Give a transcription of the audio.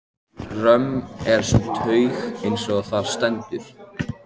Römm er sú taug, eins og þar stendur